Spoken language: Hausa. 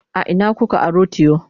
a Ina kuka aro tiyo?